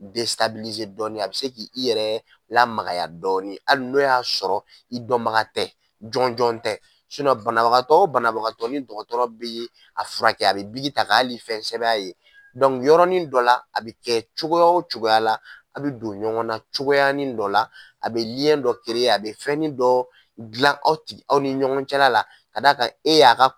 dɔɔni a bɛ se k'i i yɛrɛ lamagaya dɔɔni, hali n'o y'a sɔrɔ i dɔnbaga tɛ, jɔn jɔn tɛ banabagatɔ o banabagatɔ ni dɔgɔtɔrɔ bɛ a furakɛ, a bɛ biki ta ka hali fɛn sɛbɛn a ye yɔrɔnin dɔ la, a bɛ kɛ cogoya o cogoya la a bɛ don ɲɔgɔnna cogoya nin dɔ la, a bɛ dɔ , a bɛ fɛnnin dɔ dilan aw tigi aw ni ɲɔgɔn cɛla la ka d'a kan e y'a ka